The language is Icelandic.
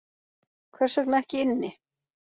Hvers vegna ekki inni